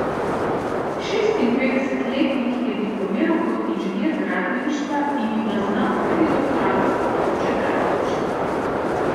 Šestinpetdesetletnik je diplomiral kot inženir gradbeništva in ima znanstveni doktorat s področja gradbeništva.